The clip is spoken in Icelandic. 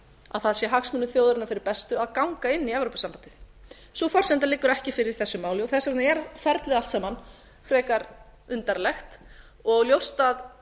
að það sé hagsmunum þjóðarinnar fyrir bestu að gana inn í evrópusambandið sú forsenda liggur ekki fyrir í þessu máli þess vegna er ferlið allt saman frekar undarlegt og ljóst að